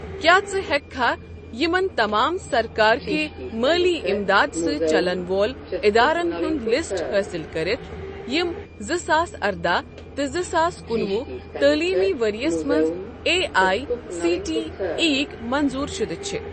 کیٛاہ ژٕ ہیٚککھا یِمَن تمام سرکار کہِ مٲلی اِمداد سٟتؠ چَلن والٮ۪ن ادارن ہُنٛد لسٹ حٲصِل کٔرتھ یِم زٕ ساس ارداہ تِہ زٕ ساس کُنوُہ تعلیٖمی ورۍ یَس مَنٛز A I C T E یٕک منظوٗر شُدٕ چھ؟